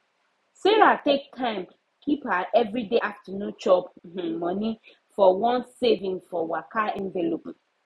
sarah take time keep her everyday afternoon chop um money for one saving for waka envelope